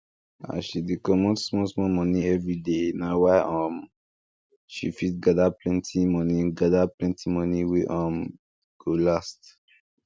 as she dey comot small small money everyday na why um she fit gather plenty money gather plenty money wey um go last